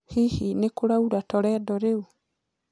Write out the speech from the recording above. hĩhĩ nikuraura toledo riu